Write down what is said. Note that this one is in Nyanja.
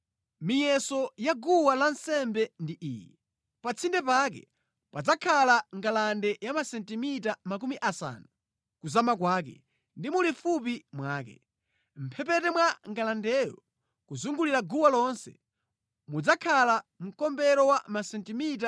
“Miyeso ya guwa lansembe ndi iyi: Pa tsinde pake padzakhala ngalande ya masentimita makumi asanu kuzama kwake ndi mulifupi mwake. Mʼphepete mwa ngalandeyo kuzungulira guwa lonse, mudzakhala mkombero wa masentimita 25.